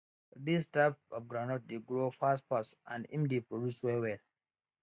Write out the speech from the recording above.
dis type of groundnut dey grow fastfast and im dey produce well well